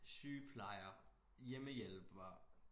Sygeplejer hjemmehjælper